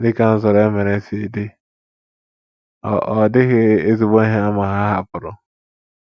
Dị ka nzọrọ e mere si dị, ọ ọ dịghị ezigbo ihe àmà ha hapụrụ.